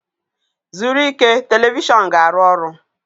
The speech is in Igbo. zuru ike, telivishọn ga-arụ ọrụ.